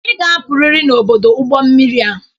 Ị ga-apụrịrị n'ọdụ ụgbọ mmiri a.